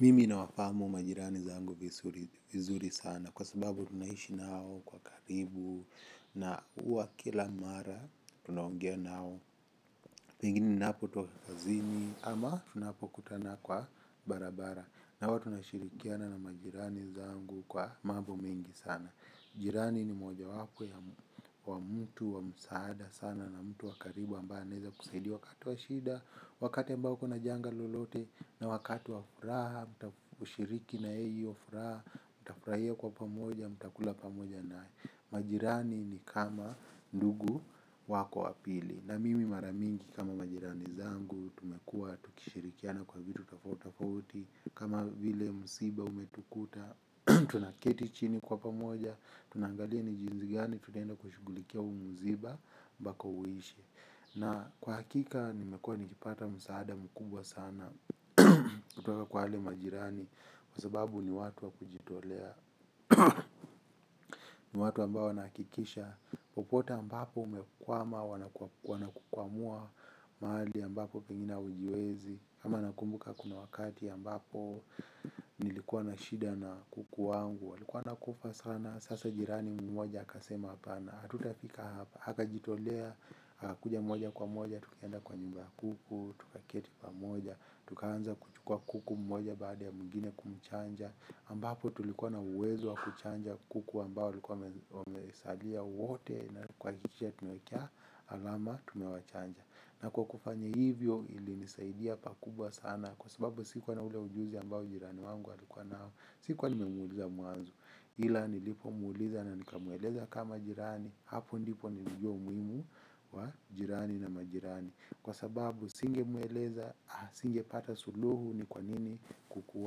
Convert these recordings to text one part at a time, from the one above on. Mimi nawafahamu majirani zangu vizuri sana kwa sababu tunaishi nao kwa karibu na huwa kila mara tunaongea nao. Pengine ninapotoka kazini ama tunapokutana kwa barabara na huwa tunashirikiana na majirani zangu kwa mambo mengi sana. Jirani ni mojawapo ya wa mtu wa msaada sana na mtu wa karibu ambaye anaweza kusaidia wakati wa shida wakati ambao uko na janga lolote na wakati wa furaha kushiriki na yeye hio furaha mtafurahia kwa pamoja mtakula pamoja naye. Majirani ni kama ndugu wako wa pili. Na mimi mara mingi kama majirani zangu tumekuwa tukishirikiana kwa vitu tofauti tofauti kama vile msiba umetukuta tunaketi chini kwa pamoja tunaangalia ni jinsi gani tunaenda kushughulikia huu msiba mpaka uishe. Na kwa hakika nimekua nikipata msaada mkubwa sana kutoka kwa wale majirani. Kwa sababu ni watu wa kujitolea. Ni watu ambao wanahakikisha popote ambapo umekwama wanakukwamua. Mahali ambapo pengine haujiwezi kama nakumbuka kuna wakati ambapo nilikuwa na shida na kuku wangu walikuwa wanakufa sana. Sasa jirani mmoja akasema hapana hatutafika hapa akajitolea. Kuja mmoja kwa mmoja tukaenda kwa nyumba ya kuku, tukaketi pamoja tukaanza kuchukua kuku mmoja baada ya mwingine kumchanja ambapo tulikuwa na uwezo wa kuchanja kuku ambao walikuwa wamesalia wote na kuhakikisha tumecha alama tumewachanja. Na kwa kufanya hivyo ilinisaidia pakubwa sana. Kwa sababu sikuwa na ule ujuzi ambao jirani wangu alikuwa nao. Sikuwa nimemuuliza mwanzo ila nilipo muuliza na nikamweleza kama jirani hapo ndipo nilijua umuhimu wa jirani na majirani. Kwa sababu singemweleza, singepata suluhu ni kwa nini kuku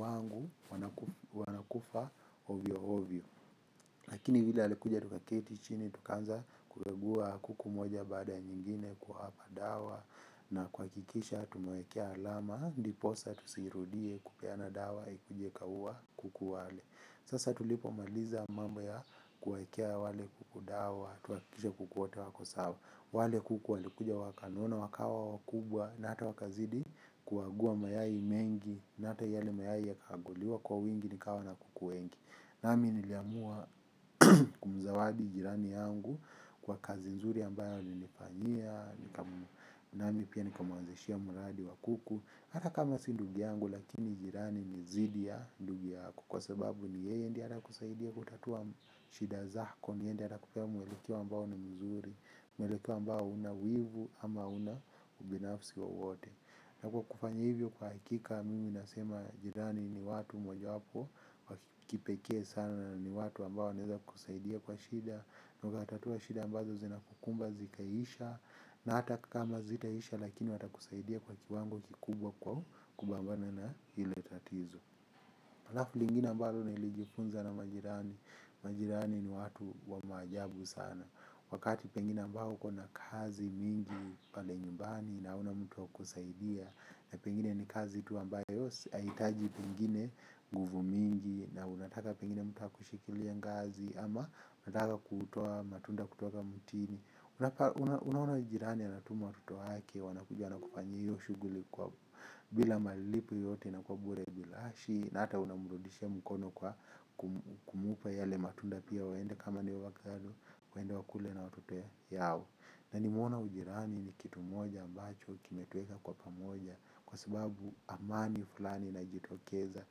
wangu wanakufa ovyo ovyo. Lakini vile alikuja tukaketi chini, tukaanza kukagua kuku mmoja baada nyingine kuwapa dawa. Na kuhakikisha tumewaekea alama, ndiposa tusirudie kupeana dawa, ikuje ikaua kuku wale. Sasa tulipo maliza mambo ya kuwaekea wale kuku dawa, tuhakikishe kuku wote wako sawa. Wale kuku walikuja wakanona, wakawa wakubwa, na hata wakazidi kuagua mayai mengi na hata yale mayai yakaaguliwa kwa wingi nikawa na kuku wengi. Nami niliamua kumzawadi jirani yangu kwa kazi nzuri ambayo alinifanyia nika nami pia nikamwanzishia mradi wa kuku hata kama si ndugu yangu lakini jirani ni zidi ya ndugu yako. Kwa sababu ni yeye ndiye anakusaidia kutatua shida zako ni yeye ndiye anakupea mwelekeo ambao ni mzuri. Mweleko ambao huna wivu ama huna ubinafsi wowote. Na kwa kufanya hivyo kwa hakika mimi nasema jirani ni watu moja wapo wa kipekee sana ni watu ambao wanaeza kusaidia kwa shida. Na ukatatua shida ambazo zinakukumba zikaisha. Na hata kama hazitaisha lakini watakusaidia kwa kiwango kikubwa kwa kupambana na lile tatizo. Halafu lingine ambalo nilijifunza na majirani. Majirani ni watu wa maajabu sana. Wakati pengine ambao uko na kazi mingi pale nyumbani na hauna wa mtu wa kukusaidia na pengine ni kazi tu ambayo si haihitaji pengine nguvu mingi na unataka pengine mtu akushikilie ngazi ama unataka kutoa matunda kutoka mtini. Unaona jirani anatuma watoto hake wanakuja wanakufanyia hiyo shughuli kwa bila malipo yoyote na kwa bure bilashi na hata unamrudishia mkono kwa kumpa yale matunda pia waende kama ni ovakado waende wakule na watoto yao na nimeona ujirani ni kitu moja ambacho kimetuweka kwa pamoja kwa sababu amani fulani inajitokeza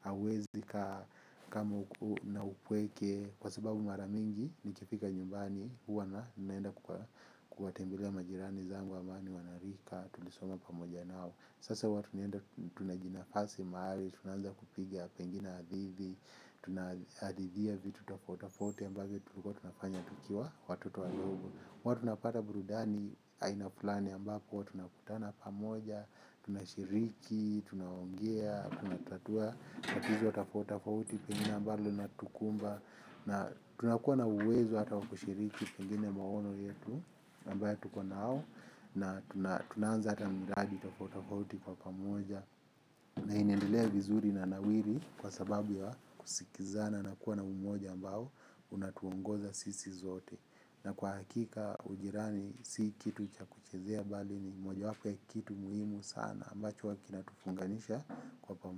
hauwezi kaa kama uko na upweke kwa sababu mara mingi nikifika nyumbani huwa na naenda kuwatembelea majirani zangu ambao ni wanarika tulisoma pamoja nao sasa huwa tunaenda tunajinafasi mahali tunaanza kupiga pengine hadithi. Tunahadhithia vitu tofauti tofauti ambazo tulikuwa tunafanya tukiwa watoto wadogo huwa tunapata burudani aina fulani ambapo huwa tunakutana pamoja tunashiriki tunaongea tunatatua tatizo tofauti tofauti pengine ambalo lina tukumba. Na tunakuwa na uwezo hata wa kushiriki pengine maono yetu ambaye tuko nao na tunaanza hata miradi tofauti tofauti. Kwa pamoja na inendelea vizuri na nawiri kwa sababu ya kusikizana na kuwa na umoja ambao unatuongoza sisi zote na kwa hakika ujirani si kitu cha kuchezea bali ni moja wapo ya kitu muhimu sana ambacho huwa kinatufunganisha kwa pamoja.